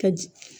Ka jigin